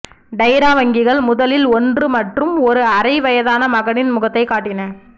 டைரா வங்கிகள் முதலில் ஒன்று மற்றும் ஒரு அரை வயதான மகனின் முகத்தைக் காட்டின